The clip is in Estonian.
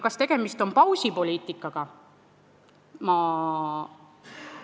Kas tegemist on pausipoliitikaga?